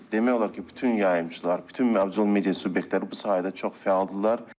Demək olar ki, bütün yayımçılar, bütün audiovizual media subyektləri bu sahədə çox fəaldırlar.